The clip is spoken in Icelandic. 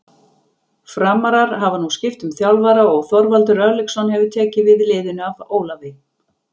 Framarar hafa nú skipt um þjálfara og Þorvaldur Örlygsson hefur tekið við liðinu af Ólafi.